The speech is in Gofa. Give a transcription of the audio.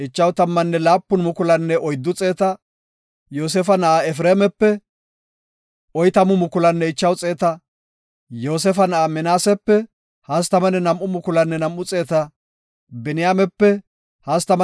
Musey, Aaroninne banta soo asaape asaape dooretida tammanne nam7u Isra7eele kochaa halaqati taybida asay haysata.